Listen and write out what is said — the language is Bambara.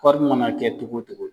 Kɔɔri mana kɛ togo togo.